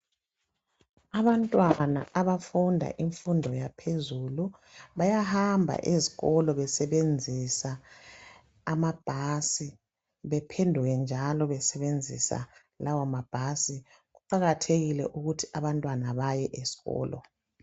Abantwana abafunda imfundo yaphezulu bayahamba ezikolo besebenzisa amabhasi bephenduke njalo besebenzisa lawo mabhasi kuqakathekile ukuthi abantwana baye esikolo.